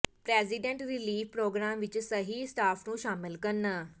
president relief program ਵਿਚ ਸਹੀ staff ਨੂੰ ਸ਼ਾਮਲ ਕਰਨਾ